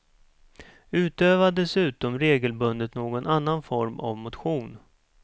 Utöva dessutom regelbundet någon annan form av motion.